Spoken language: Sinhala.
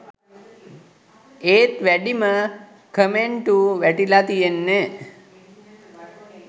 ඒත් වැඩිම කමෙන්ටු වැටිලා තියෙන්නෙ